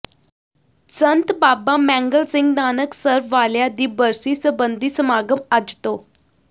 ਸੰਤ ਬਾਬਾ ਮੈਂਗਲ ਸਿੰਘ ਨਾਨਕਸਰ ਵਾਲਿਆਂ ਦੀ ਬਰਸੀ ਸਬੰਧੀ ਸਮਾਗਮ ਅੱਜ ਤੋਂ